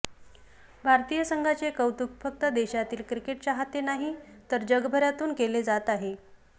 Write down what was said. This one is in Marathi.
भारतीय संघाचे कौतुक फक्त देशातील क्रिकेट चाहते नाही तर जगभरातून केले जात आहे